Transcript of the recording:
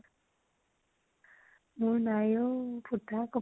মোৰ নাই অ, ফুটা কপাল।